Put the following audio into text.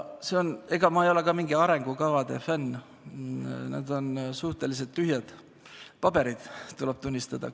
Ega mina ka ei ole mingi arengukavade fänn, need on suhteliselt tühjad paberid, tuleb tunnistada.